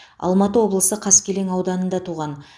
алматы облысы қаскелең ауданында туған